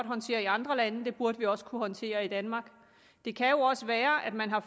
håndtere i andre lande det burde vi også kunne håndtere i danmark det kan jo også være at man har